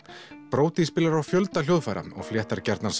brody spilar á fjölda hljóðfæra og fléttar gjarnan